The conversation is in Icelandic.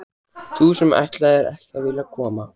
Þú sem ætlaðir ekki að vilja koma!